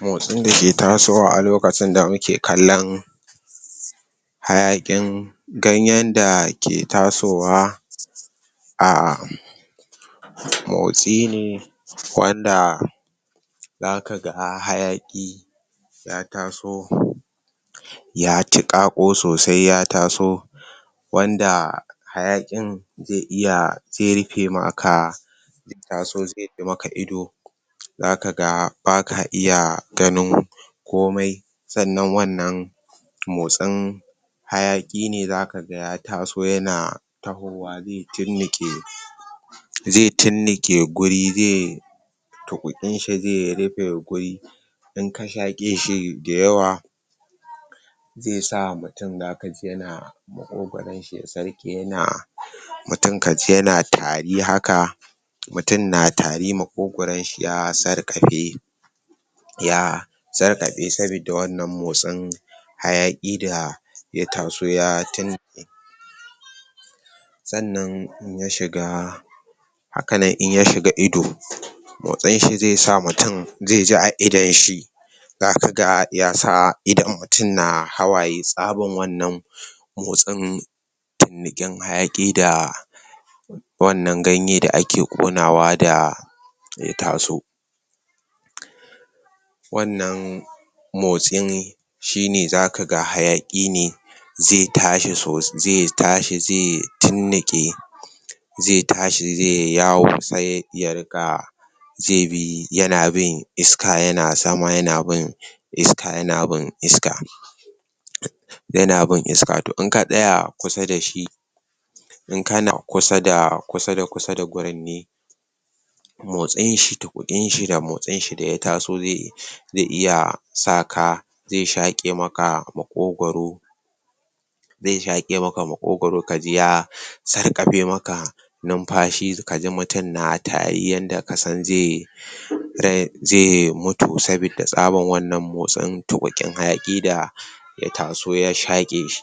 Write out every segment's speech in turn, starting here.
Motsin dake tasowa a lokacin da muke kallon hayaƘin ganyenda ke tasowa um motsi ne wanda zakaga hayaƘi ya taso ya tiƘaƘo sosai ya taso wanda hayaƙin ze iya ze rufe maka ido ido zakaga baka iya ganin komai sannan wannan motsin hayaƙi ne zakaga ya taso yana tahowa ze tirniƙe ze tirniƘe guri ze tuƘuƘin shi ze rufe guri inka shaƘeshi da yawa ze sa mutum zakaji yana maƘogaron shi ya sarƘe yana mutum kaji yana tari haka, mutum na tari maƘogaron shi ya sarƘa fe ya sarƘafe saboda wannan motsin hayaƘi ya taso ya sannan in ya shiga haka nan in ya shiga ido tuƘuƘinshi ze sa mutum yaji a idon shi zakaga yasa idon mutum na hawaye tsabar wannan motsin turniƘin hayaƘi da wannan ganye da ake Ƙonawa da ya taso wannan motsin shine zakaga hayaƘi ne ze tashi, ze tashi ze turniƘe ze tashi ze yawo se ya riƘa ze bi ,yanabin iska yana sama yana bin iska, yana bin iska yana bin iska to in ka tsaya kusa dashi in kana kusa da kusa da gurin ne motsin shi tuƘuƘinshi da motsin shi daya taso ze iya saka ze shaƘe maka maƘogaro ze shaƘemaka maƘogaro kaji ya sarƘafe maka numfashi kaji mutum na tari yanda kasan ze ze mutu, saboda tsabar wannan motsin tuƘuƘi na hayaƘi da ya taso ya shaƘe shi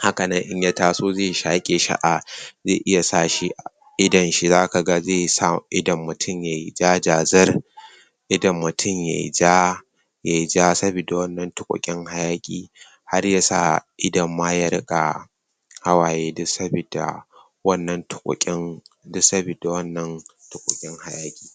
haka nan in ya taso ze shaƘe shi a ze iya sashi idon shi zaka ga ze idon mutum yay jajazir idon mutum yay ja yay ja sabida wannan tuƘuƘin hayaƘi har yasa idonma ya riƘa hawaye duk sabidda wannan tuƘuƘin duk sabidda wannan tuƘuƘin hayaƘi.